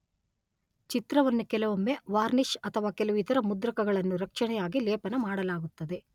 ಚಿತ್ರವನ್ನು ಕೆಲವೊಮ್ಮೆ ವಾರ್ನಿಷ್ ಅಥವಾ ಕೆಲವು ಇತರ ಮುದ್ರಕಗಳನ್ನು ರಕ್ಷಣೆಯಾಗಿ ಲೇಪನ ಮಾಡಲಾಗುತ್ತದೆ.